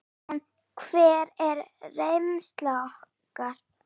En hver er reynsla okkar?